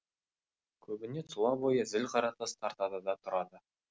көбіне тұла бойы зіл қаратас тартады да тұрады